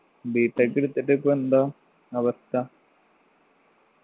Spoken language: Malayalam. B. Tech എടുത്തിട്ടിപ്പോ എന്താ അവസ്ഥ